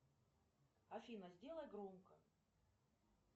афина сделай громко